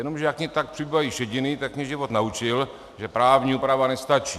Jenomže jak mi tak přibývají šediny, tak mě život naučil, že právní úprava nestačí.